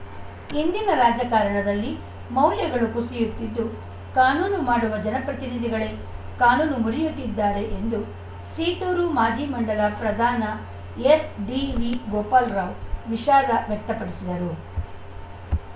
ಇಂದಿನ ರಾಜಕಾರಣದಲ್ಲಿ ಮೌಲ್ಯಗಳು ಕುಸಿಯುತ್ತಿದ್ದು ಕಾನೂನು ಮಾಡುವ ಜನಪ್ರತಿನಿಧಿಗಳೇ ಕಾನೂನು ಮುರಿಯುತ್ತಿದ್ದಾರೆ ಎಂದು ಸೀತೂರು ಮಾಜಿ ಮಂಡಲ ಪ್ರಧಾನ ಎಸ್‌ಡಿವಿ ಗೋಪಾಲ ರಾವ್‌ ವಿಷಾದ ವ್ಯಕ್ತಪಡಿಸಿದರು